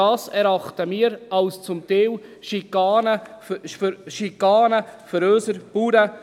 Das erachten wir zum Teil als Schikane für unsere Bauern.